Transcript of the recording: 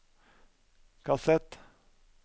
kassett